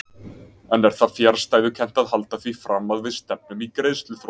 En er það fjarstæðukennt að halda því fram að við stefnum í greiðsluþrot?